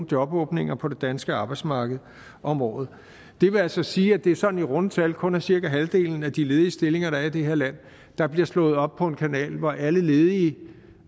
jobåbninger på det danske arbejdsmarked om året det vil altså sige at det sådan i runde tal kun er cirka halvdelen af de ledige stillinger der er i det her land der bliver slået op på en kanal hvor alle ledige